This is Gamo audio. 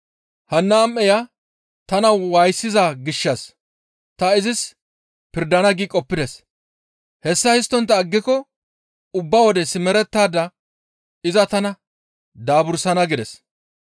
hanna am7eya tana waayisiza gishshas ta izis pirdana› qoppides; hessa histtontta aggiko ubba wode simerettada iza tana daabursana» gides.